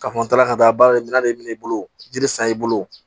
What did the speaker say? K'a fɔ n taara ka taa baarakɛ minɛ de minɛ i bolo jiri san i bolo